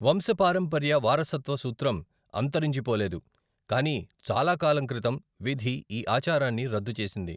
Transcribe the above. వంశపారంపర్య వారసత్వ సూత్రం అంతరించిపోలేదు, కానీ చాలా కాలం క్రితం విధి ఈ ఆచారాన్ని రద్దు చేసింది.